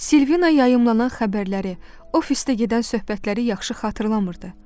Silvina yayılana xəbərləri, ofisdə gedən söhbətləri yaxşı xatırlamırdı.